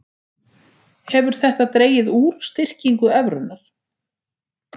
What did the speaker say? Hefur þetta dregið úr styrkingu evrunnar